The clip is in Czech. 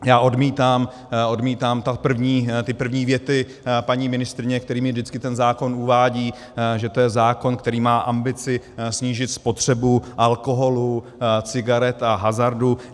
Já odmítám ty první věty paní ministryně, kterými vždycky ten zákon uvádí, že je to zákon, který má ambici snížit spotřebu alkoholu, cigaret a hazardu.